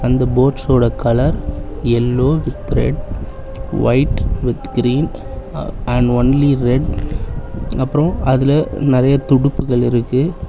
அந்த போட்ஸ்ஸோட colour yellow with red white with green and only red அப்புறோ அதுல நறைய துடுப்புகள் இருக்கு.